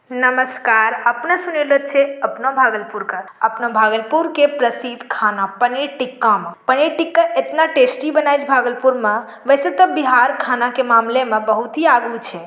नमस्कार। अपना सुनौले छे अपनो भागलपुर का। अपना भागलपुर के प्रसिद्ध खाना पनीर टिक्का मा। पनीर टिक्का इतना टेस्टी बनाइ छे भागलपुर मा | वेसे तो बिहार खाना के मामले में बहुत ही आगु छे |